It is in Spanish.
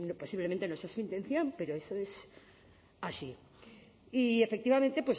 posiblemente no sea esa su intención pero esto es así y efectivamente